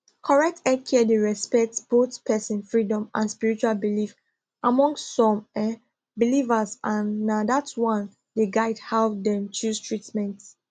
correct healthcare dey respect both person freedom and spiritual belief among some um believers and na that one dey guide how dem choose treatment